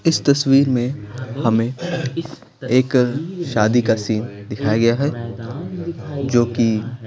इस तस्वीर में हमें एक शादी का सीन दिखाया गया है जो कि --